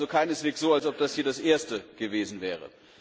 Es ist also keineswegs so, dass das hier das erste gewesen wäre.